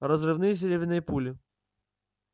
разрывные серебряные пули